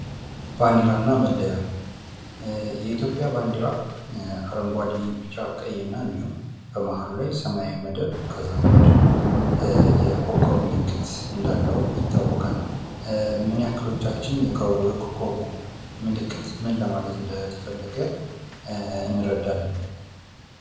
ባንዲራ እና መለያ፤ የኢትዮጵያ ባንዲራ አረንጓዴ፣ ቢጫ፣ ቀይ እና እንዲሁም በመሃሉ ላይ ሰማያዊ መደብ ከዛም ላይ ደሞ የኮኮብ ምልክት እንዳለው ይታወቃል። ምንያክሎቻችን የኮኮቡ ምልክት ምን ለማለት እንደተፈለገ እንረዳለን?